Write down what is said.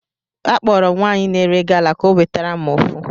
Akpọrọ m nwaanyị na-ere gala ka o wetere m ofu